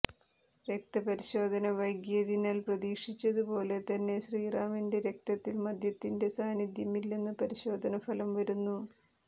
രക്തപരിശോധന വൈകിയതിനാൽ പ്രതീക്ഷിച്ചതു പോലെ തന്നെ ശ്രീറാമിന്റെ രക്തത്തിൽ മദ്യത്തിന്റെ സാന്നിധ്യം ഇല്ലെന്നു പരിശോധന ഫലം വരുന്നു